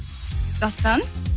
дастан